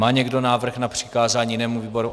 Má někdo návrh na přikázání jinému výboru?